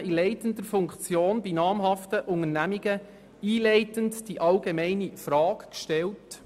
Dort wurden Tausend Leuten in leitenden Positionen von namhaften Unternehmungen einleitend folgende allgemeine Frage gestellt: